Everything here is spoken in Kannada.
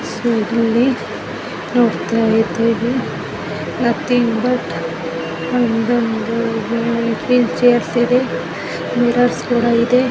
ನಾವು ಇಲ್ಲಿ ನೋಡ್ತಾ ಇದ್ದೇವೆ ನಥಿಂಗ್ ಬಟ್ ಒಂದೊಂದಾಗಿ ವೀಲ್ ಚೇರ್ಸ್ ಇದೆ ಮಿರರ್ ಕೂಡ ಇದೆ .